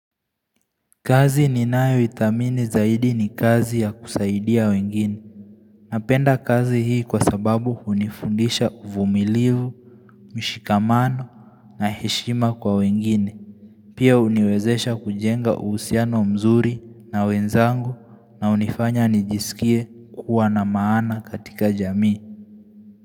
Kazi ni nayo idhamini zaidi ni kazi ya kusaidia wengine. Napenda kazi hii kwa sababu unifundisha uvumilivu, mshikamano na heshima kwa wengine. Pia uniwezesha kujenga usiano mzuri na wenzangu na unifanya nijisikie kuwa na maana katika jamii.